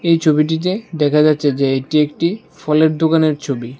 এই ছবিটিতে দেখা যাচ্ছে যে এটি একটি ফলের দোকানের ছবি।